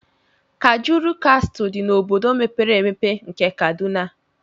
Kajuru Castle dị n'obodo mepere emepe nke Kaduna.